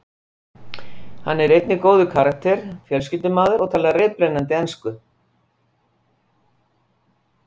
Hann er einnig góður karakter, fjölskyldumaður og talar reiprennandi ensku.